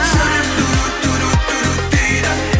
жүрек дейді